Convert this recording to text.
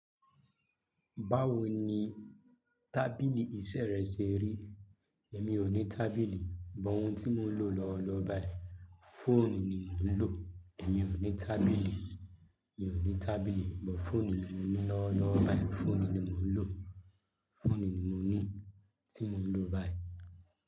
Báwo ni tábìlì iṣẹ́ rẹ ṣe rí? Èmi ò ní tábìlì, but ohun tí mo ń lò lọ́ọ̀lọ́ọ̀ báyìí, fóònù ni mò ń lò. Èmi ò ní tábìlì, èmi ò ní tábìlì, but fóònù ni mo ní lọ́ọ̀lọ́ọ̀ báyìí. Fóònù ni mò ń lò, fóònù ni mo ní tí mo ń lò báyìí.